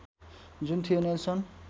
जुन थियो नेल्सन